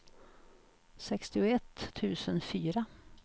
sextioett tusen fyra